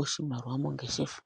oshimaliwa mongeshefa.